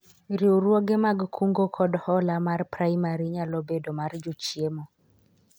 riwruoge mag kungo kod hola mar praimari nyalo bedo mar jochiemo